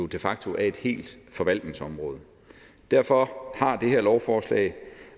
de facto et helt forvaltningsområde derfor har det her lovforslag